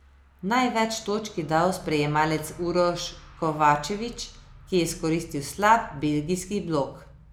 Največ točk je dal sprejemalec Uroš Kovačević, ki je izkoristil slab belgijski blok.